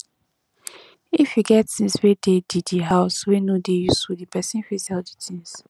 if you get things wey de the the house wey no dey useful di person fit sell di things